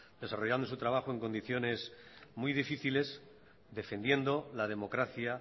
desarrollando su trabajo en condiciones muy difíciles defendiendo la democracia